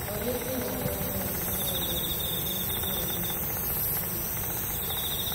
Olĩ njĩra harĩa taũni ya ũgũri ĩrĩ itũra-inĩ ĩrĩ .